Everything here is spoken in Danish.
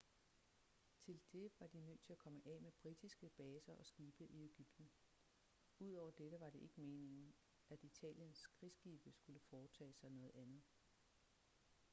til det var de nødt til at komme af med britiske baser og skibe i ægypten udover dette var det ikke meningen at italiens krigsskibe skulle foretage sig noget andet